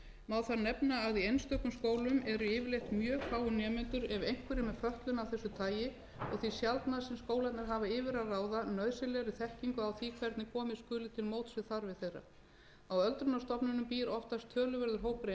má þar nefna að í einstökum skólum eru yfirleitt mjög fáir nemendur ef einhverjir með fötlun af þessu tagi og því sjaldnast sem skólarnir hafa yfir að ráða nauðsynlegri þekkingu á því hvernig komið skuli til móts við þarfir þeirra á öldrunarstofnunum býr oftast töluverður hópur einstaklinga sem